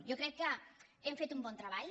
jo crec que hem fet un bon treball